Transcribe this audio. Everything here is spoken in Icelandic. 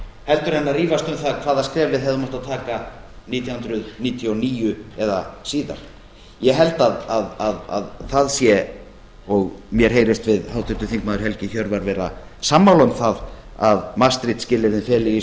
heldur en að rífast um það hvaða skref við hefðum átt að taka árið nítján hundruð níutíu og níu eða síðar ég held að það sé og mér heyrist við háttvirtur þingmaður helgi hjörvar vera sammála um það að maastricht skilyrðin feli í